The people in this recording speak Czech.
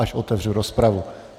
Až otevřu rozpravu.